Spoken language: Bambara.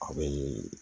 A bɛ